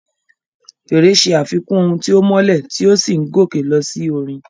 Fèrè ṣe àfikún ohùn tí ó mọ́lẹ̀ tí ó sì ń gòkè lọ sí orin.